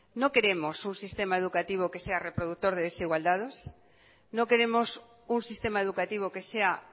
no queremos un sistema educativo que sea reproductor de desigualdados no queremos un sistema educativo que sea